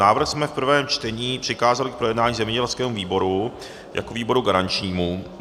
Návrh jsme v prvém čtení přikázali k projednání zemědělskému výboru jako výboru garančnímu.